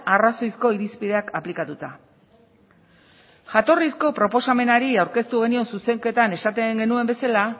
arrazoizko irizpideak aplikatuta jatorrizko proposamenari aurkeztu genion zuzenketan esaten genuen bezala